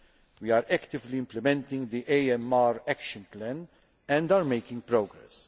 We are actively implementing the AMR Action Plan and are making progress.